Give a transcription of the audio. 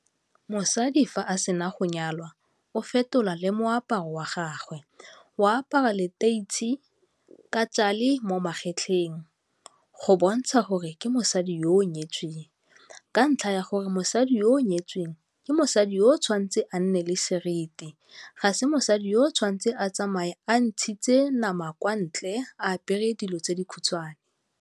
Mosadi fa a sena go nyalwa o fetola le moaparo wa gagwe, o apara leteitshi ka tšale mo magetleng go bontsha gore ke mosadi yo o nyetsweng ka ntlha ya gore mosadi yo o nyetsweng, ke mosadi yo o tshwanetseng a nne le seriti, ga se mosadi yo o tshwantseng a tsamaye a ntshitse nama kwa ntle, a apere dilo tse di khutshwane.